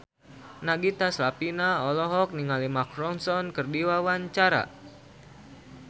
Nagita Slavina olohok ningali Mark Ronson keur diwawancara